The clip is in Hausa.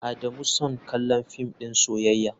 Adamu son kallon film din soyayya.